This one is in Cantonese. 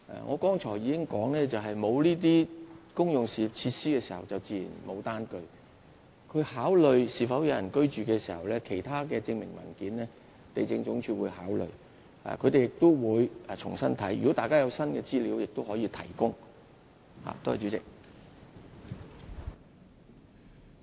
我剛才已經說明，沒有這些公用設施，自然沒有單據，地政總署考慮村落是否有人居住時，會一併考慮其他的證明文件，也會重新審視，如果大家有新的資料，也可以提供。